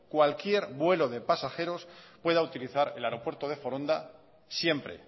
cualquier vuelo de pasajeros pueda utilizar el aeropuerto de foronda siempre